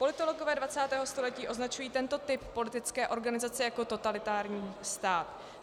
Politologové 20. století označují tento typ politické organizace jako totalitární stát.